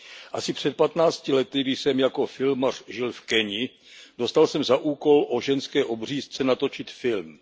Asi před 15 lety, když jsem jako filmař žil v Keni, dostal jsem za úkol o ženské obřízce natočit film.